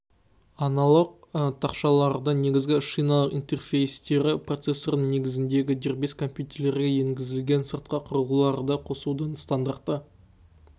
аналық тақшалардың негізгі шиналық интерфейстері процессорының негізіндегі дербес компьютерлерге енгізілген сыртқы құрылғыларды қосудың стандарты